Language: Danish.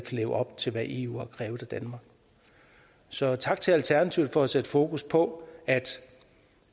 leve op til hvad eu har krævet af danmark så tak til alternativet for at sætte fokus på